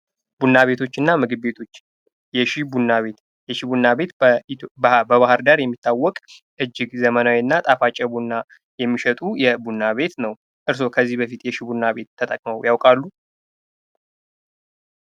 ቡና ቤቶች እና ምግብ ቤቶች:-የሺ ቡና ቤት የሺ ቡና ቤት በባህር ዳር የሚታወቅ እጅግ ዘመናዊ እና ጣፋጭ ቡና የሚሸጡ ቡና ቤት ነው። እርሶ ከዚህ በፊት የሺ ቡና ቤት ተጠቅመው ያውቃሉ።